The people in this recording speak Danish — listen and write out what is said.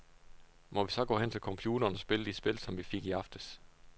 Må vi så gå hen til computeren og spille de spil, som vi fik i aftes.